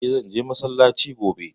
Eh, zan je massalaci gobe